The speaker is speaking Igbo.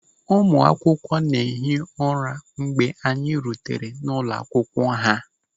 Ụmụ akwụkwọ na-ehi ụra mgbe anyị rutere n'ụlọ akwụkwọ ha.